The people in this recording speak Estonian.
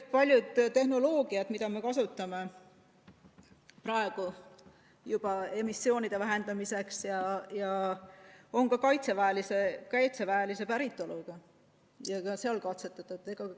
Paljud tehnoloogiad, mida me kasutame juba praegu emissioonide vähendamiseks, on ka kaitseväelise päritoluga ja seal katsetatud.